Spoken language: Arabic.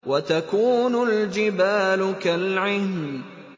وَتَكُونُ الْجِبَالُ كَالْعِهْنِ